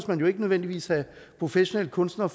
man jo ikke nødvendigvis have professionelle kunstnere